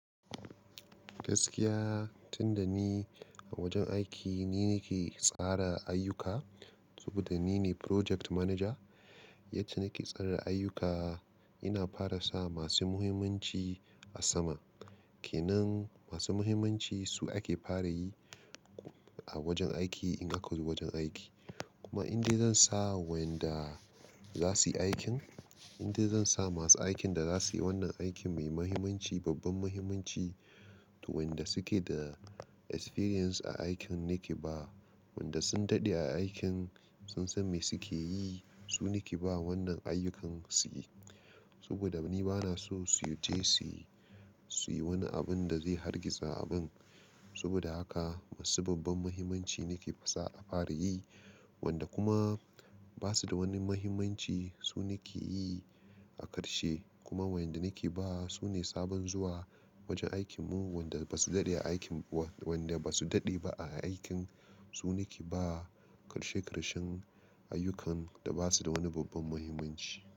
Gaskiya, tun da ni a wajen aiki ni ne ke tsara ayyuka saboda ni ne Project Manager. Yadda nake tsara ayyuka, ina fara sa masu muhimmanci a farko. Ke nan masu muhimmanci su ake fara yi a wajen aiki idan aka zo wajen aiki. Kuma idan dai zan sa wanda za su yi aikin, in dai zan sa masu aikin da za su yi wannan aikin mai muhimmanci, babban muhimmanci, to wanda suke da ƙwarewa a aikin nake ba. WaWaɗandayanda sun daɗe a aikin, sun san me suke yi, su nake ba wannan ayyukan su yi. Saboda ni ba na so su je su yi wani abun da zai hargitsa abin. Saboda haka masu babban muhimmanci nake fasa a fara yi. Wanda kuma ba su da wani muhimmanci su nake yi a ƙarshe. Kuma waɗanda nake ba, su ne sababbin zuwa wajen aikinmu, wanda ba su daɗe a aikin, wanda ba su daɗe ba a aikin su nake ba ƙarshe-ƙarshe ayyukan da ba su da wani babban muhimmanci.